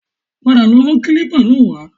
Padà lọ mú kílípà náà wá